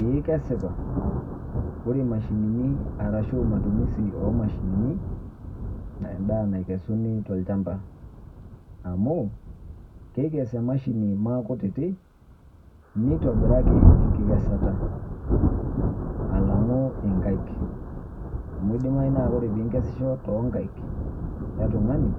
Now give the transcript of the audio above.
Eeh kesipa, ore imashinini arashu matumisi oomashinini eendaa naikesuni tolchamba. Amu keikes emashini maakutiti neitobiraki enkikesata alang'u inkaik amu eidimayu naa ore piinkesisho toonkaik e tung'ani